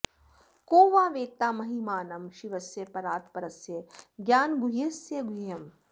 को वा वेत्ता महिमानं शिवस्य परात् परस्य ज्ञानगुह्यस्य गुह्यम्